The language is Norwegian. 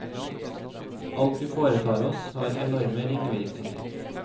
Alt vi foretar oss, har enorme ringvirkninger.